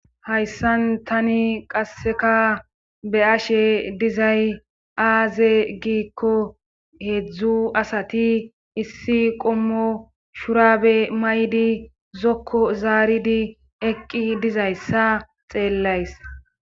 hayssan tani qasseka be ashe dizay aaze giikko heedzdzu asati issi qommo shurabe maydi zokko zaaridi eqqi dizayssa xeellays